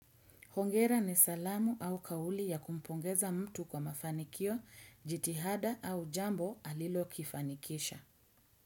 Hongera ni salamu au kauli ya kumpongeza mtu kwa mafanikio jitihada au jambo alilo kifanikisha.